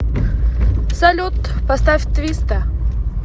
салют поставь твиста